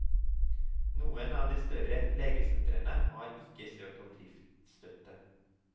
Noen av de større legesentrene har ikke søkt om driftsstøtte.